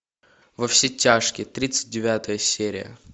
во все тяжкие тридцать девятая серия